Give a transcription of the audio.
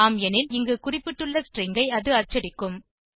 அதிகம் எனில் இங்கு குறிப்பிட்டுள்ள ஸ்ட்ரிங் ஐ அது அச்சடிக்கும்